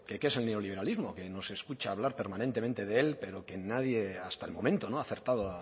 que qué es el neoliberalismo que nos escucha hablar permanentemente de él pero que nadie hasta el momento no ha acertado